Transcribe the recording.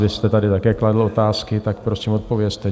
Vy jste tady také kladl otázky, tak prosím odpovězte.